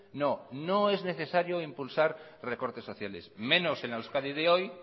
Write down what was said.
no no es necesario impulsar recortes sociales menos en la euskadi de hoy